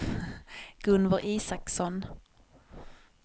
Gunvor Isaksson